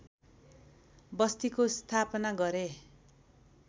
बस्तीको स्थापना गरे